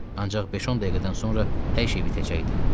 Ancaq 5-10 dəqiqədən sonra hər şey bitəcəkdi.